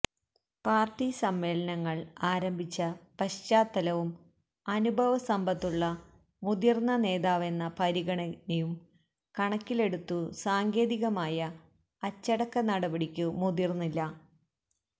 party സമ്മേളനങ്ങൾ ആരംഭിച്ച പശ്ചാത്തലവും അനുഭവസമ്പത്തുള്ള മുതിർന്ന നേതാവെന്ന പരിഗണനയും കണക്കിലെടുത്തു സാങ്കേതികമായ അച്ചടക്ക നടപടിക്കു മുതിർന്നില്ല